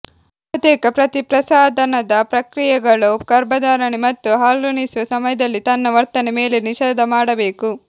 ಬಹುತೇಕ ಪ್ರತಿ ಪ್ರಸಾದನದ ಪ್ರಕ್ರಿಯೆಗಳು ಗರ್ಭಧಾರಣೆ ಮತ್ತು ಹಾಲುಣಿಸುವ ಸಮಯದಲ್ಲಿ ತನ್ನ ವರ್ತನೆ ಮೇಲೆ ನಿಷೇಧ ಮಾಡಬೇಕು